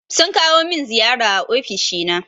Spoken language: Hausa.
Sun kawo min ziyara a ofishi na.